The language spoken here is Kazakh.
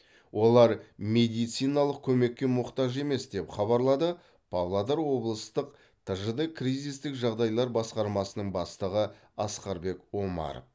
олар медициналық көмекке мұқтаж емес деп хабарлады павлодар облыстық тжд кризистік жағдайлар басқармасының бастығы асқарбек омаров